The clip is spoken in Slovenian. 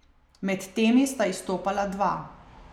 Med temi sta izstopala dva.